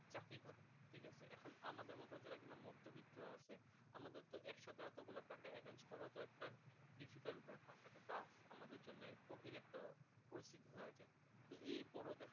এরপরেও দেখা